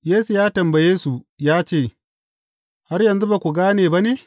Yesu ya tambaye su ya ce, Har yanzu ba ku gane ba ne?